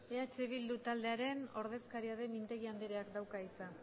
eh bildu taldearen ordezkaria den mintegi andereak dauka hitza